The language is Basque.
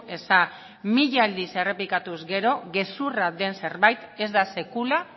eza mila aldiz errepikatuz gero gezurra den zerbait ez da sekula